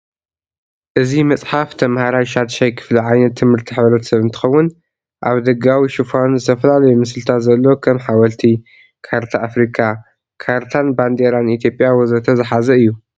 እዚ መፅሐፍ ተምህራይ ሻድሻይ ክፍሊ ዓይነት ትምህርቲ ሕብረተሰብ እንትኸውን አብ ደጋዊ ሽፋኑ ዝተፈላለዩ ምስልታት ዘለዎ ከም ሐወልቲ፣ ካርታ አፍሪካ፣ ካርታን ባንዴሬን ኢትዮጵያ ወዘተ ዝሐዘ እዩ።